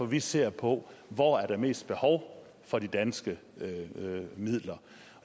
vi ser på hvor der er mest behov for de danske midler